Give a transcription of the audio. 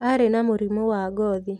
Arĩ na mũrimũ wa ngothi.